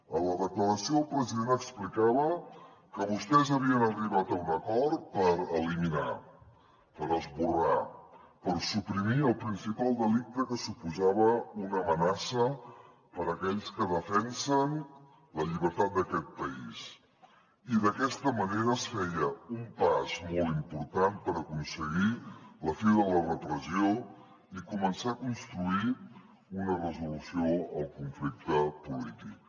en la declaració el president explicava que vostès havien arribat a un acord per eliminar per esborrar per suprimir el principal delicte que suposava una amenaça per a aquells que defensen la llibertat d’aquest país i d’aquesta manera es feia un pas molt important per aconseguir la fi de la repressió i començar a construir una resolució al conflicte polític